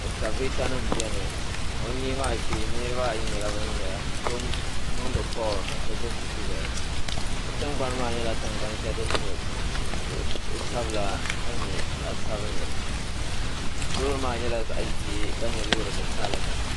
Esikaveetanima beni o nyee maa shee niriba ayi nyɛla bin zaya so niŋdi kooli ka so zaya gbubi buku zaya si tingbani maa nyɛ kuɣ'sabila ka nyɛ zaɣ'sabinli loori maa nyɛla zaɣ'ʒee ka nyɛ loori titali.